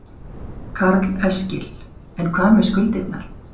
Karl Eskil: En hvað með skuldirnar?